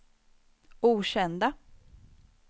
okända